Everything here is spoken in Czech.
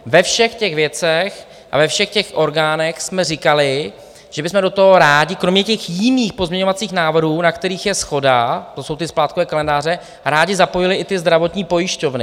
Ve všech těch věcech a ve všech těch orgánech jsme říkali, že bychom do toho rádi kromě těch jiných pozměňovacích návrhů, na kterých je shoda, to jsou ty splátkové kalendáře, rádi zapojili i ty zdravotní pojišťovny.